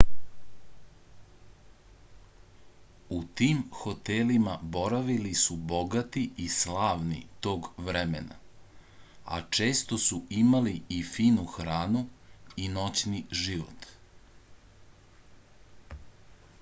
u tim hotelima boravili su bogati i slavni tog vremena a često su imali i finu hranu i noćni život